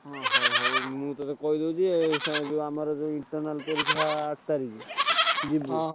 ଓହ ହଉ ମୁଁ ତୋତେ କହିଦଉଛି ଆଉ ସେ ଏବେ ଆମର internal ପରୀକ୍ଷା ଆଠ ତାରିଖ ବୁଝିଲୁ ନା।